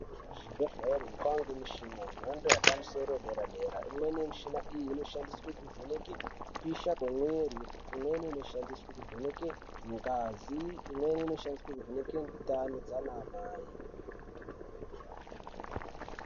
Kuzvibhehleri kwaange mishina yemhando yemapusoro yederadera imweni yemishini iyi inoshandiswe kuvhenke kupisha kwemwiri imweni inoshandiswe kuvheneke ngazi imweni inoshandiswe kuvheneke ndani dzaana mai.